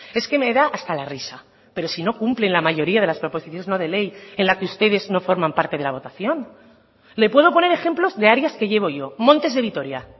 es que me da hasta la risa pero si no cumplen la mayoría de las proposiciones no de ley en la que ustedes no forman parte de la votación le puedo poner ejemplos de áreas que llevo yo montes de vitoria